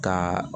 Ka